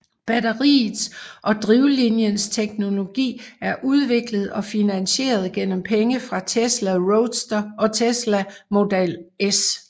Batteriets og drivlinjens teknologi er udviklet og finansieret gennem penge fra Tesla Roadster og Tesla Model S